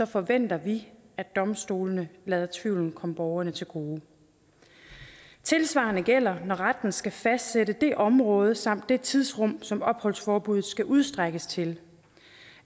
forventer vi at domstolene lader tvivlen komme borgeren til gode tilsvarende gælder når retten skal fastsætte det område samt det tidspunkt som opholdsforbuddet skal udstrækkes til